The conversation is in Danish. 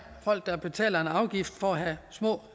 folk betaler en afgift for at have små